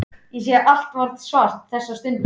Ég sé allt svart þessa stundina.